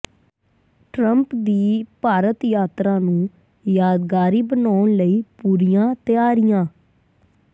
Trump ਦੀ ਭਾਰਤ ਯਾਤਰਾ ਨੂੰ ਯਾਦਗਾਰੀ ਬਣਾਉਣ ਲਈ ਪੂਰੀਆਂ ਤਿਆਰੀਆਂ